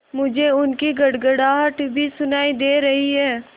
मुझे उनकी गड़गड़ाहट भी सुनाई दे रही है